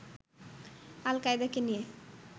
আল-কায়েদাকে নিয়ে